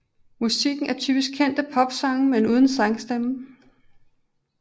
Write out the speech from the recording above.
Musikken er typisk kendte popsange men uden sangstemme